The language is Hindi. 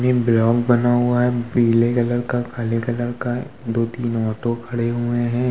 बना हुआ है पीले कलर का काले कलर कादोतीन ऑटो खड़े हुए हैं।